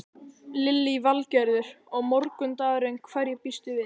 Lillý Valgerður: Og morgundagurinn, hverju býstu við?